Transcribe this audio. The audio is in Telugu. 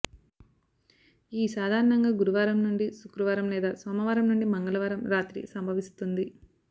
ఈ సాధారణంగా గురువారం నుండి శుక్రవారం లేదా సోమవారం నుండి మంగళవారం రాత్రి సంభవిస్తుంది